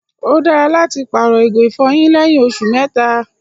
O dára láti paarọ̀ igi ifọ̀yín lẹyìn òṣù mẹ́ta.